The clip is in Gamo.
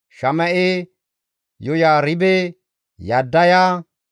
Shama7e, Yoyaaribe, Yaddaya,